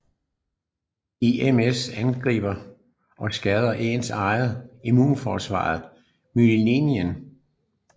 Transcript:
I MS angriber og skader ens eget immunforsvar myelinen